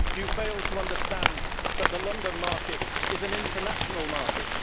You fail to understand that the London market is an international market.